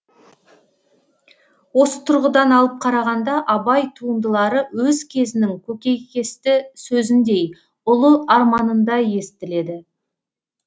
осы тұрғыдан алып қарағанда абай туындылары өз кезінің көкейкесті сөзіндей ұлы арманындай естіледі